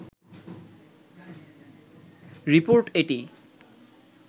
report এটি